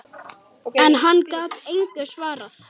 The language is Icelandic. En hann gat engu svarað.